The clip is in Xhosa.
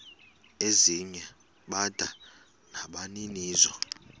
ezinye bada nabaninizo